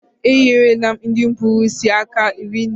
E nyere la m ndị kpụrụ isi aka rinne